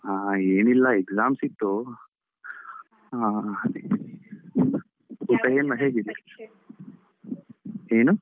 ಹಾ ಏನಿಲ್ಲ exams ಇತ್ತು ಆಹ್ ಅದೇ ನಿಂದು, ಊಟ ಏನು ಹೇಗಿದ್ದೀಯಾ? ಏನು?